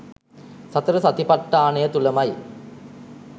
සතර සතිපට්ඨානය තුළමයි.